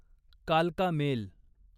कालका मेल